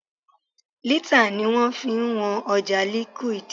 Lítà ni wọ́n fi ń wọn ọjà liquid.